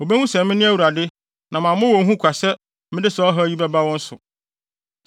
Wobehu sɛ mene Awurade na mammɔ wɔn hu kwa sɛ mede saa ɔhaw yi bɛba wɔn so.